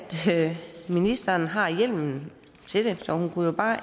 ministeren har hjemlen til det så hun jo bare